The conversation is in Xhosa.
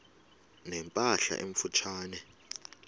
ne mpahla emfutshane